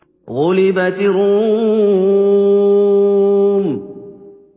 غُلِبَتِ الرُّومُ